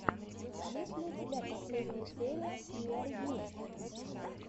есть ли у тебя последняя серия ниар йу